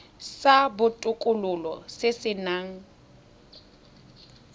sa botokololo se se nang